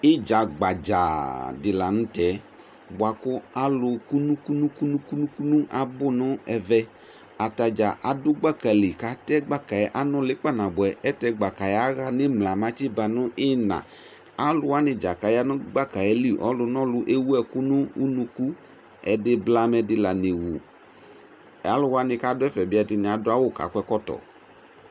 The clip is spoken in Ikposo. Idza gbadzaaa di la nʋ tɛ boa kʋ alʋ kʋnʋkʋnʋkʋnʋkʋnʋ abʋ nɛvɛ Atadza adʋ gbaka li kʋ atɛ gbaka yɛ, anʋli kpanabuɛ Ɛlʋtɛ, gbaka yɛ aɣa nʋ imla mɛ atsi ba nʋ iyina Alʋwani dza kaya nʋ gbaka yɛ li, ɔlʋnɔlʋ ewu ɛkʋ nʋ unuku Ɛdi blamɛdi la nɛwu Alʋwa ni ka dʋ ɛfɛ bi, ɛdini adʋ awʋ, kakɔ ɛkɔtɔ